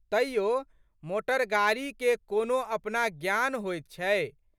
तइयो मोटरगाड़ीके कोनो अपना ज्ञान होइत छै।